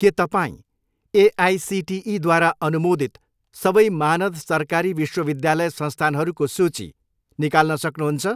के तपाईँँ एआइसिटिईद्वारा अनुमोदित सबै मानद सरकारी विश्वविद्यालय संस्थानहरूको सूची निकाल्न सक्नुहुन्छ?